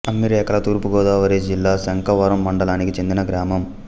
అమ్మిరేఖల తూర్పు గోదావరి జిల్లా శంఖవరం మండలానికి చెందిన గ్రామం